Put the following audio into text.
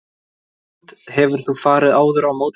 Hrund: Hefur þú farið áður á mótorhjól?